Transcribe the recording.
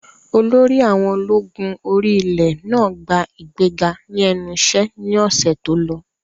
Olórí àwọn ológun orí ilẹ̀ náà gba ìgbéga ní ẹnu iṣẹ́ ní ọ̀sẹ̀ tó lọ